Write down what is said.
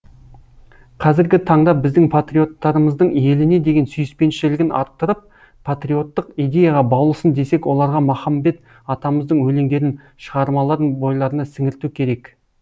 қазіргі таңда біздің патриоттарымыздың еліне деген сүйіспеншілігін арттырып патриоттық идеяға баулысын десек оларға махамбет атамыздың өлендерін шығармаларын бойларына сіңірту керек